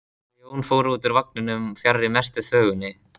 Þau Jón fóru úr vagninum fjarri mestu þvögunni.